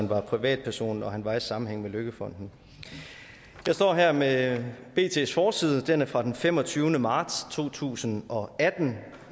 var privatperson når han var i sammenhæng med løkkefonden jeg står her med bts forside den er fra den femogtyvende marts to tusind og atten